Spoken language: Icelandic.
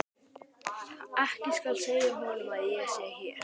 Ekki segja honum að ég sé hér.